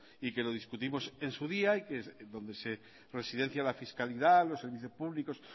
y que lo discutimos en su día y que es donde se residencia la fiscalidad los servicios públicos